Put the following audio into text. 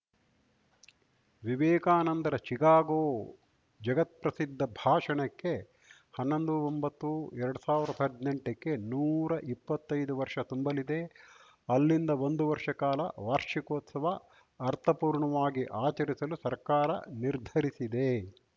ವಿವೇಕಾನಂದರ ಚಿಕಾಗೋ ಜಗತ್ಪ್ರಸಿದ್ಧ ಭಾಷಣಕ್ಕೆ ಹನ್ನೊಂದುಒಂಬತ್ತುಎರಡ್ ಸಾವಿರ್ದಾಹದ್ನೆಂಟಕ್ಕೆ ನೂರ ಇಪ್ಪತ್ತೈದು ವರ್ಷ ತುಂಬಲಿದೆ ಅಲ್ಲಿಂದ ಒಂದು ವರ್ಷ ಕಾಲ ವಾರ್ಷಿಕೋತ್ಸವ ಅರ್ಥಪೂರ್ಣವಾಗಿ ಆಚರಿಸಲು ಸರ್ಕಾರ ನಿರ್ಧರಿಸಿದೆ